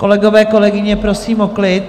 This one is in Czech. Kolegyně, kolegové, prosím o klid.